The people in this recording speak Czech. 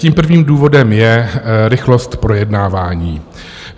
Tím prvním důvodem je rychlost projednávání.